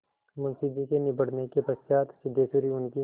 मुंशी जी के निबटने के पश्चात सिद्धेश्वरी उनकी